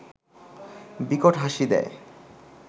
বিকট হাসি দেয়